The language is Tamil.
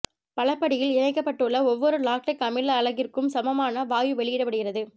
பலபடியில் இணைக்கப்பட்டுள்ள ஒவ்வொரு லாக்டிக் அமில அலகிற்கும் சமமான வாயு வெளியிடப்படுகிறது